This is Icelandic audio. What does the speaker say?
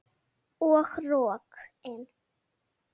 Og rokin.